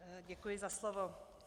Děkuji za slovo.